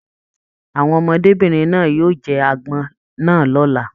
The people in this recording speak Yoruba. Àwọn ọmọdébinrin náà yóò jẹ agbọn náà l'ọ́la.